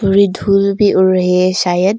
बड़ी धूल भी उड़ रही है शायद।